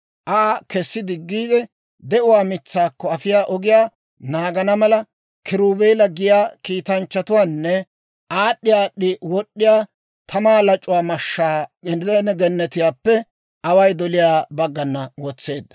Aa kesi diggiide, de'uwaa mitsaakko afiyaa ogiyaa naagana mala, kiruubeela giyaa kiitanchchatuwaanne aad'd'i aad'd'i wod'd'iyaa tamaa lac'uwaa mashshaa Edene Gennetiyaappe away doliyaa baggana wotseedda.